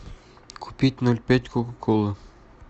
купить ноль пять кока колы